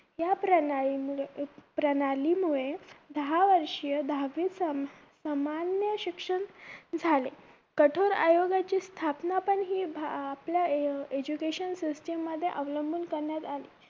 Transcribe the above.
या प्रणालीमुळे प्रणालीमुळे दहा वर्षीय दहावीत सामान्य शिक्षण झाले कठोर आयोगाची स्थापना पण हि आपल्या education system मध्ये अवलंबून करण्यात आली